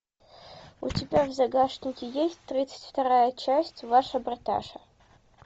у тебя в загашнике есть тридцать вторая часть ваша бриташа